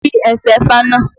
Ki ẹsẹ ifá náà!